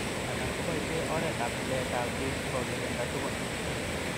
Alak koboishe oret ab tilet ab bik sikokirinda tukun.